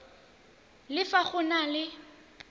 le fa go na le